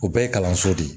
O bɛɛ ye kalanso de ye